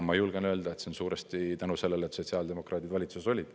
Ma julgen öelda, et see on suuresti tänu sellele, et sotsiaaldemokraadid valitsuses olid.